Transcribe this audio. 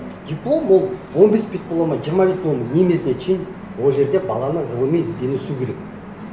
диплом ол он бес бет болады ма жиырма бет болады ма не имеет значения ол жерде баланың ғылыми ізденісі керек